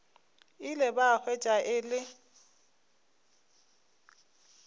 ile ba hwetša e le